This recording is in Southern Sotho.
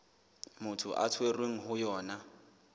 motho a tshwerweng ho yona